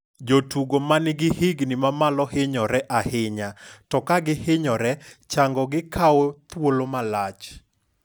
Jotugo manigi higni mamalo hinyore ahinya, to kagi hinyore chango gi kawo thuol malach.